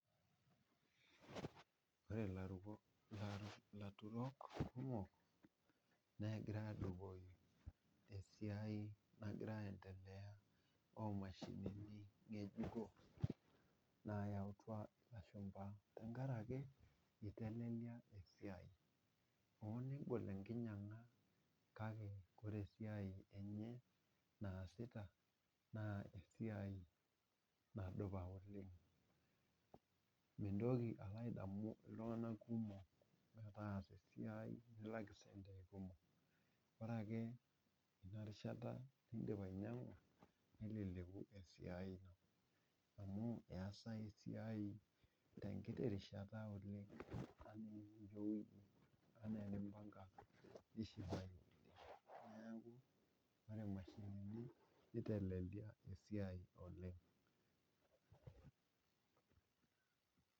Ore ilaturok kumok naa egira adupoki esiai nagira aendelea omashinini ngejuko nayautua ilashumba idol ake ejio eitelelia esiai hoo negol enkinyianga kake ore esiai enye naasita na esiai nadupa oleng .mintoki alo adamu iltunganak kumok metaasa esiai nilak icentii kumok ,ore ake ina rishata nindim ainyangu ,neleleku esiai ino amu eesayu esiai tenkiti rishata oleng. nelioyu ena enimpanga nishipayu .neeku ore mashinini neitelelia esiai oleng.